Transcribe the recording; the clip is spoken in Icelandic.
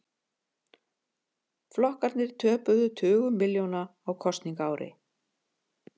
Flokkarnir töpuðu tugum milljóna á kosningaári